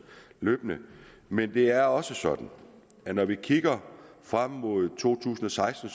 løbende men det er også sådan at når vi kigger frem mod to tusind og seksten